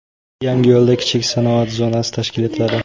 Yangiyo‘lda kichik sanoat zonasi tashkil etiladi.